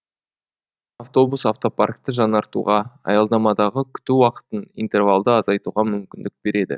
автобус автопаркті жаңартуға аялдамадағы күту уақытын интервалды азайтуға мүмкіндік береді